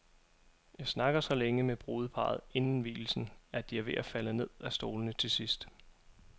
Jeg snakker så længe med brudeparret inden vielsen, at de er ved at falde ned af stolene til sidst.